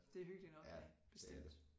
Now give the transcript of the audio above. Det er hyggeligt nok ja bestemt